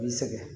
I sɛgɛn